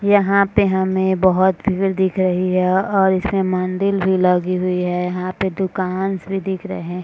यहाँ पे हमें बहुत भीड़ दिख रही है और इसमें मंदिल भी लगी हुई है और यहाँ पे दुकांस भी दिख रहे हैं |